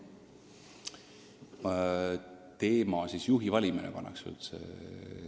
Küsimuse teema on siis juhi valimine?